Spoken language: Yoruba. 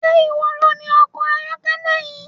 Ṣé iwọ loni ọkọ ayọ́kẹ́lẹ́ yìí?